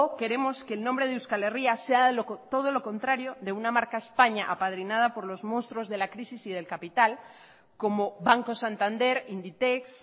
queremos que el nombre de euskal herria sea todo lo contrario de una marca españa apadrinada por los monstruos de la crisis y del capital como banco santander inditex